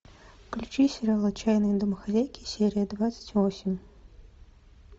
включи сериал отчаянные домохозяйки серия двадцать восемь